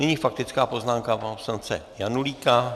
Nyní faktická poznámka pana poslance Janulíka.